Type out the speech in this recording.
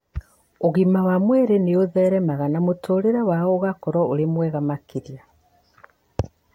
Ũgima mwega wa mwĩrĩ nĩ ũtheremaga na mũtũũrĩre wao ũgakorũo ũrĩ mwega makĩria.